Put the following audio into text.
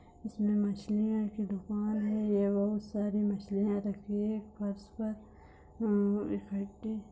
इसमें मछलियां की दुकान है ही यहाँ बोहत सारी मछलियां रखी हैं फर्श पर